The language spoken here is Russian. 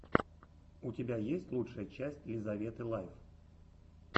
у тебя есть лучшая часть лизаветы лайф